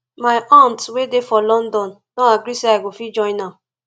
my aunt wey dey for london don agree say i go fit join am